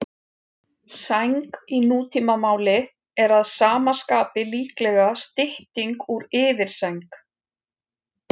Sæng í nútímamáli er að sama skapi líklega stytting úr yfirsæng.